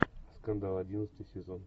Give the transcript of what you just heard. скандал одиннадцатый сезон